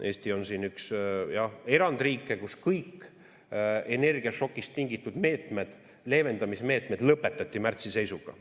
Eesti on siin üks erandriike, kus kõik energiašokist tingitud leevendamise meetmed lõpetati märtsi seisuga.